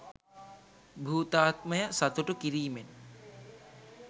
භූතාත්මය සතුටු කිරිමෙන්